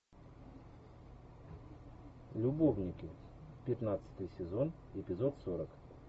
любовники пятнадцатый сезон эпизод сорок